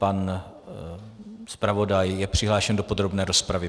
Pan zpravodaj je přihlášen o podrobné rozpravy.